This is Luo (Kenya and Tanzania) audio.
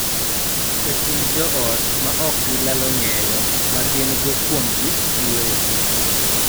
E kind joot ma ok gilalo ng�eyo ma gin-go kuomgi giwegi.